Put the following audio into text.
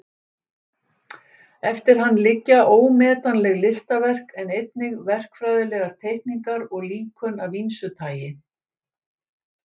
Eftir hann liggja ómetanleg listaverk en einnig verkfræðilegar teikningar og líkön af ýmsu tagi.